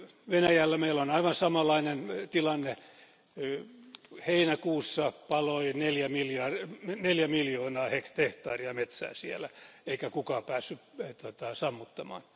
Venäjällä meillä on aivan samanlainen tilanne heinäkuussa paloi neljä miljoonaa hehtaaria metsää siellä eikä kukaan päässyt sammuttamaan.